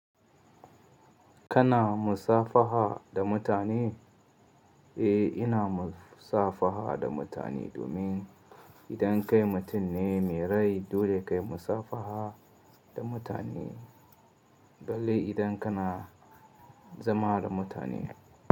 Kana musafaha da mutane? Eh, ina musafaha da mutane domin idan kai mutum ne mai rai dole kayi musafaha da mutane, balle idan kana zama da mutane.